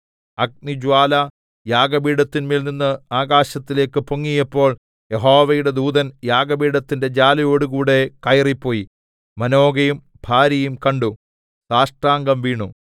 അഗ്നിജ്വാല യാഗപീഠത്തിന്മേൽ നിന്ന് ആകാശത്തിലേക്ക് പൊങ്ങിയപ്പോൾ യഹോവയുടെ ദൂതൻ യാഗപീഠത്തിന്റെ ജ്വാലയോടുകൂടെ കയറിപ്പോയി മാനോഹയും ഭാര്യയും കണ്ടു സാഷ്ടാംഗം വീണു